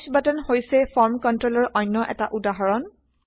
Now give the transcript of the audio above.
push button হৈছে form কন্ট্ৰলৰ অনয় এটা উদাহৰণ